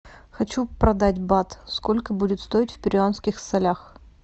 хочу продать бат сколько будет стоить в перуанских солях